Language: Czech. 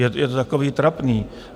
Je to takové trapné.